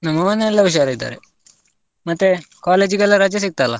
ನಮ್ಮ ಮನೆಯೆಲ್ಲಾ ಹುಷಾರ್ ಇದ್ದಾರೆ, ಮತ್ತೆ college ಗೆಲ್ಲಾ ರಜೆ ಸಿಕ್ತಲ್ಲ?